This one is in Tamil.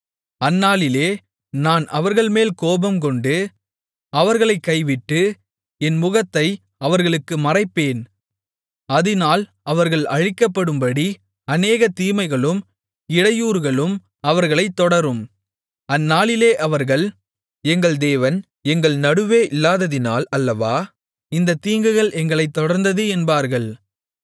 அந்நாளிலே நான் அவர்கள்மேல் கோபம்கொண்டு அவர்களைக் கைவிட்டு என் முகத்தை அவர்களுக்கு மறைப்பேன் அதினால் அவர்கள் அழிக்கப்படும்படி அநேக தீமைகளும் இடையூறுகளும் அவர்களைத் தொடரும் அந்நாளிலே அவர்கள் எங்கள் தேவன் எங்கள் நடுவே இல்லாததினால் அல்லவா இந்தத் தீங்குகள் எங்களைத் தொடர்ந்தது என்பார்கள்